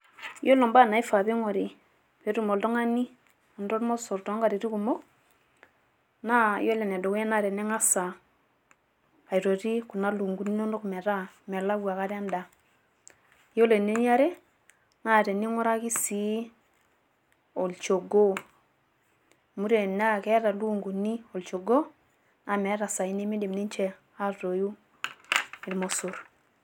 iyiolo ibaa naing'ri pee etum oltung'ani anoto ilmosor too nkoitoi kumok. naa iyioloe ene dukuya naa tening'aas aitoti kuna lukunkuni, inonok metaa melau aikata edaa. iyiolo eniare naa tening'uraki sii olchogoo. amu tenaa keeta ilukununi olchogoo naa meeta isaai nemeidim aatoiu irmosor.